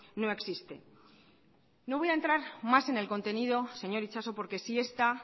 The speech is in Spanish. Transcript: no existe no voy a entrar más en el contenido señor itxaso porque si esta